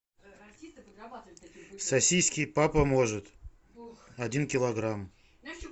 сосиски папа может один килограмм